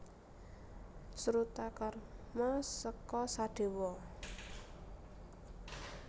Srutakarma seka Sadewa